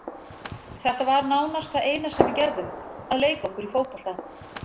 Þetta var nánast það eina sem við gerðum, að leika okkur í fótbolta.